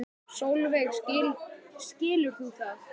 Sólveig: Skilur þú það?